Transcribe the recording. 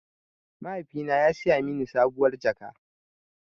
Mahaifina ya saya mini sabuwar jaka.